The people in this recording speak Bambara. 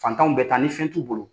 Fantanw bɛ taa ni fɛn t'u bolo.